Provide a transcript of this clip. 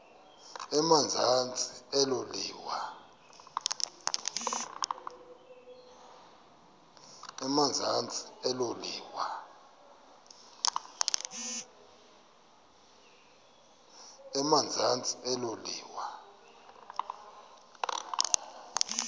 emazantsi elo liwa